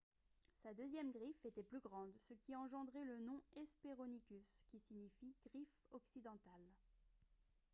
sa deuxième griffe était plus grande ce qui a engendré le nom hesperonychus qui signifie « griffe occidentale »